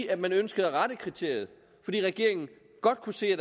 at man ønskede at rette kriteriet fordi regeringen godt kunne se at